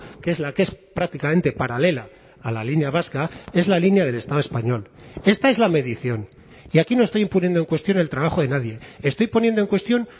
que es la que es prácticamente paralela a la línea vasca es la línea del estado español esta es la medición y aquí no estoy poniendo en cuestión el trabajo de nadie estoy poniendo en cuestión